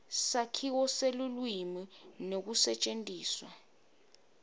sakhiwo selulwimi nekusetjentiswa